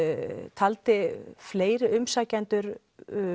taldi fleiri umsækjendur